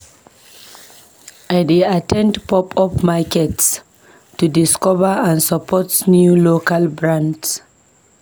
I dey at ten d pop-up markets to discover and support new local brands.